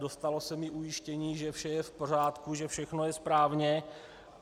Dostalo se mi ujištění, že vše je v pořádku, že všechno je správně.